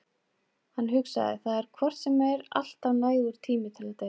Hann hugsaði: Það er hvort sem er alltaf nægur tími til að deyja.